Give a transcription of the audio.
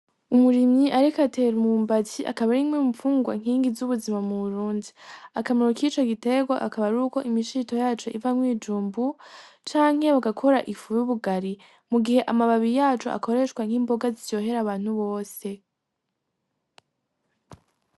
Umurimyi ariko atera umwumbati akaba arimwe mu nfungurwa nkingi zu buzima mu Burundi, Akamaro kico giterwa akaba aruko imishito yaco ivamwo ibijumbu canke bagakora ifu y'ubugari mu gihe amababi yaco akoreshwa nk'imboga ziryohera abantu bose.